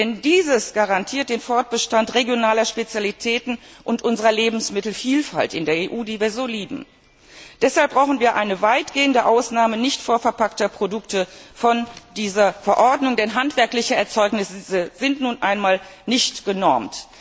Denn dieses garantiert den Fortbestand regionaler Spezialitäten und unserer Lebensmittelvielfalt in der EU, die wir so lieben. Deshalb brauchen wir eine weitgehende Ausnahme nicht vorverpackter Produkte von dieser Verordnung, denn handwerkliche Erzeugnisse sind nun einmal nicht genormt.